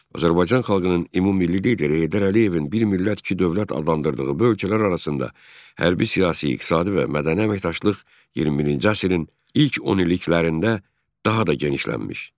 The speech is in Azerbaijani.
Azərbaycan xalqının ümummilli lideri Heydər Əliyevin bir millət iki dövlət adlandırdığı bu ölkələr arasında hərbi, siyasi, iqtisadi və mədəni əməkdaşlıq 21-ci əsrin ilk onilliklərində daha da genişlənmiş.